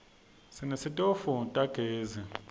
sinetitofu tagezi